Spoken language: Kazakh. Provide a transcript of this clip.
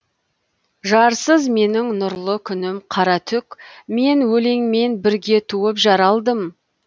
жарсыз менің нұрлы күнім қара түк мен өлеңмен бірге туып жаралдым